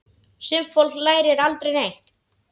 Sumt fólk lærir aldrei neitt.